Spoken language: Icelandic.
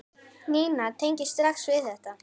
Nína tengir strax við þetta.